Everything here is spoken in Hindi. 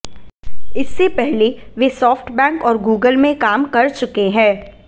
इससे पहले वे सॉफ्ट बैंक और गूगल में काम कर चुके हैं